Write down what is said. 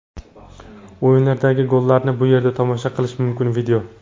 O‘yinlardagi gollarni bu yerda tomosha qilish mumkin video .